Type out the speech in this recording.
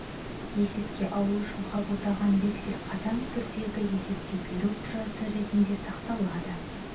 есепке алу үшін қабылдаған вексель қатаң түрдегі есеп беру құжаты ретінде сақталады